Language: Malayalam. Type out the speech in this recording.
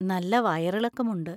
നല്ല വയറിളക്കം ഉണ്ട്.